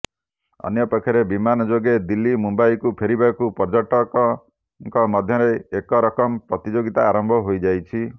ଅନ୍ୟପକ୍ଷରେ ବିମାନ ଯୋଗେ ଦିଲ୍ଲୀ ମୁମ୍ବାଇକୁ ଫେରିବାକୁ ପର୍ଯ୍ୟଟକଙ୍କ ମଧ୍ୟରେ ଏକରକମ ପ୍ରତିଯୋଗିତା ଆରମ୍ଭ ହୋଇଯାଇଛି